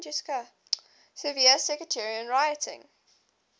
severe sectarian rioting